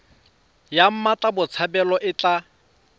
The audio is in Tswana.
ya mmatla botshabelo e tla